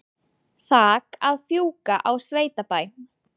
Þak að fjúka á sveitabæ